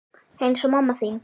Eins og mamma þín.